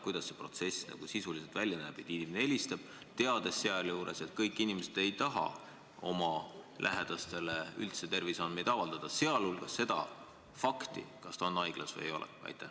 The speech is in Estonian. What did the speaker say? Kuidas see protsess sisuliselt välja näeb, teades, et kõik inimesed ei taha oma lähedastele terviseandmeid avaldada, sh fakti, kas ta on haiglas või ei ole?